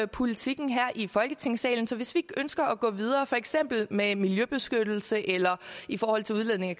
politikken her i folketingssalen så hvis vi ønsker at gå videre for eksempel med miljøbeskyttelse eller i forhold til udledningen